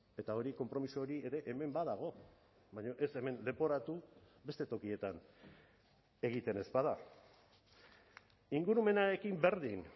eta hori konpromiso hori ere hemen badago baina ez hemen leporatu beste tokietan egiten ez bada ingurumenarekin berdin